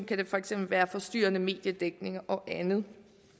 kan der for eksempel være forstyrrende mediedækning og andet